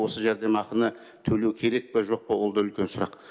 осы жәрдемақыны төлеу керек па жоқ па ол да үлкен сұрақ